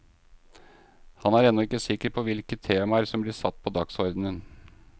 Han er ennå ikke sikker på hvilke temaer som blir satt på dagsordenen.